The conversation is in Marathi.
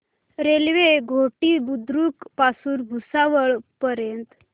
रेल्वे घोटी बुद्रुक पासून भुसावळ पर्यंत